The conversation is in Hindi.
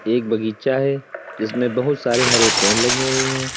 एक बगीचा है जिसमें बहुत सारे हरे पेड़ लगे हुए हैं।